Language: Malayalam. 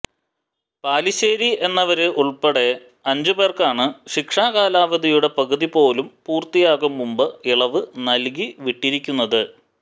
പാലിശ്ശേരി എന്നിവര് ഉള്പ്പെടെ അഞ്ചു പേര്ക്കാണ് ശിക്ഷാ കാലാവധിയുടെ പകുതി പോലും പൂര്ത്തിയാകും മുന്പ് ഇളവ് നല്കി വിട്ടിരിക്കുന്നത്